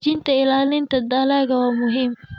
Xoojinta ilaalinta dalagga waa muhiim.